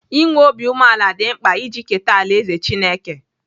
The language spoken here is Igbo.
I nwee obi umeala dị mkpa iji keta alaeze Chineke.